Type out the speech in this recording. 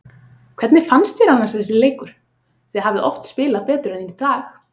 Hvernig fannst þér annars þessi leikur, þið hafið oft spilað betur en í dag?